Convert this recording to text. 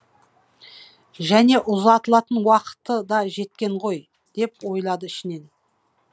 және ұзатылатын уақыты да жеткен ғой деп ойлады ішінен